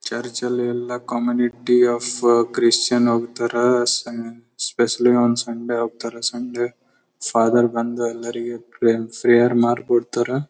Community of Christians ಹೋಗ್ತಾರೆ especially ಒಂದ್ Sunday ಹೋಗ್ತಾ ರೆ ಸಂಡೆ ಫಾದರ್ ಬಂದು ಎಲ್ಲರಿಗು ಪ್ರೇಯರ್ ಮಾಡ್ಬಿಡ್ತಾರೆ.